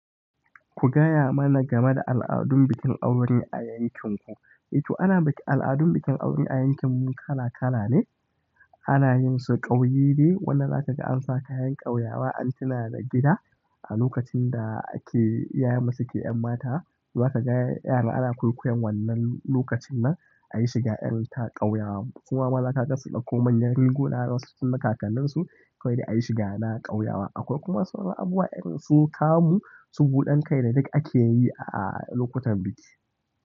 Ku gaya mana game da al'adun bikin aure a yankinku. To ana bikin al'adun bikin aure a yankinmu kala kala ne. Ana yin su ƙauye day, wanda za ka ga an sa kayan ƙauyawa an tuna da gida, a lokacin da ake iyayen mu su ke yanmata. Za ka ga yaran ana kwaikwayon wannan lokacin nan ayi shiga irin ta ƙauyawa. Kuma maza ka ga su ɗauko manyan riguna wasu tun na kakkanin su kawai da ayi shiga na ƙauyawa. Akwai kuma wasu abubuwa irin su kamu, su buɗan kai da duk ake yi a lokutan biki.